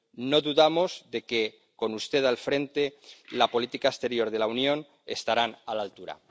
No dudamos de que, con usted al frente, la política exterior de la Unión estará a la altura.